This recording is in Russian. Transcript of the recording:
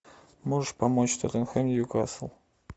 можешь помочь тоттенхэм ньюкасл